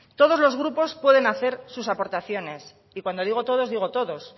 todos los grupos pueden hacer sus aportaciones y cuando digo todos digo todos